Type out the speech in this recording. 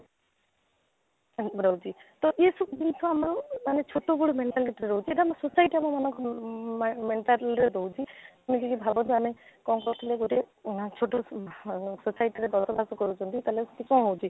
କରନ୍ତି ତ ଏ ସବୁ ଜିନିଷ ଆମର ମାନେ ଛୋଟ ବେଳୁ mentality ରହୁଛି ଏଇଟା ଆମେ society ଆମ ଓଁ ମନକୁ mentality ରହୁଛି ଆମେ ଯଦି ଭାବନ୍ତୁ ଆମେ କ'ଣ କହୁଥିଲେ ଗୋଟେ ଛୋଟ ଆଁ society ରେ ବଡ କର୍ମ କରୁଛନ୍ତି ତାହେଲେ କ'ଣ ହେଉଛି